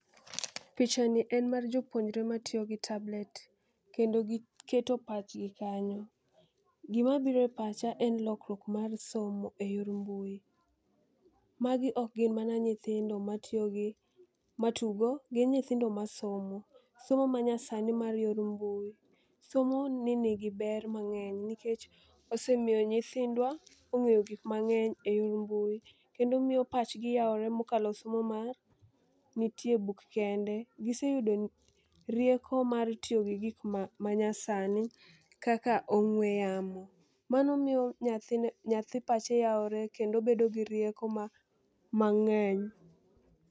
Picha ni en mar jopuonjre matiyo gi tablet kendo giketo pachgi kanyo. Gimabiro e pacha en lokwuok mar somo e yor mbui. Magi ok gin mana nyithindo matiyo gi matugo gin nyithindo masomo. Somo manyasani mar yor mbui somo ni nigi ber mang'eny nikech osemiyo nyithindwa ong'eyo gik mangeny e yor mbui kendo miyo pachgi yawre mokalo somo mantie buk kende. Giseyudo rieko mar tiyo gi gik ma manya sani kaka ong'we yamo. Mano miyo nyathi nyathi pache yawore kendo bedo gi rieko ma mang'eny.